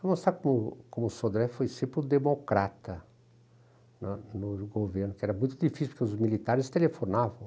Vou mostrar como o como o Sodré foi sempre o democrata no no governo, que era muito difícil, porque os militares telefonavam.